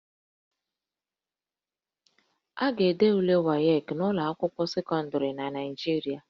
A ga-ede ule WAEC n'ụlọ akwụkwọ sekọndịrị na Naịjirịa